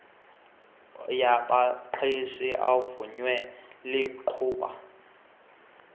yabaqeshi evunywe libhubga